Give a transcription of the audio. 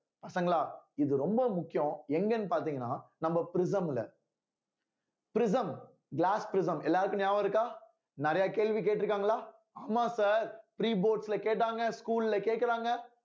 பசங்களா இது ரொம்ப முக்கியம் எங்கேன்னு பார்த்தீங்கன்னா நம்ம prism ல prism glass prism எல்லாருக்கும் ஞாபகம் இருக்கா நிறைய கேள்வி கேட்டிருக்காங்களா ஆமா sir three boards ல கேட்டாங்க school ல கேக்குறாங்க